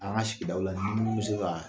An ka sigidaw la ni min bɛ se ka